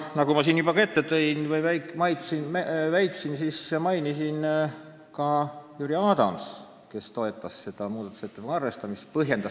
Nagu ma siin juba mainisin, põhjendas Jüri Adams ka seda, miks ta toetas selle muudatusettepaneku arvestamist.